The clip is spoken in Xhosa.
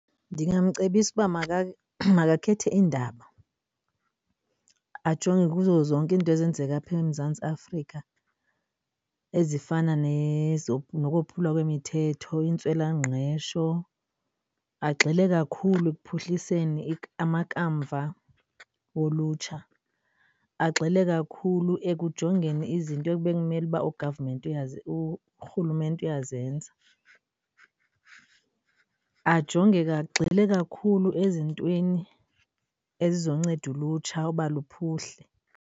Ndingamcebisa uba makakhethe iindaba ajonge kuzo zonke iinto ezenzeka apha eMzantsi Afrika ezifana nokophulwa kwemithetho, intswelangqesho. Agxile kakhulu ekuphuhliseni amakamva wolutsha. Agxile kakhulu ekujongeni izinto ebekumele uba ugavamenti urhulumente uyazenza. Ajonge ke agxile kakhulu ezintweni ezizonceda ulutsha uba luphuhle.